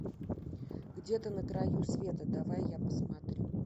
где то на краю света давай я посмотрю